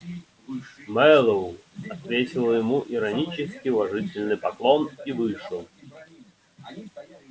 мэллоу отвесил ему иронический уважительный поклон и вышел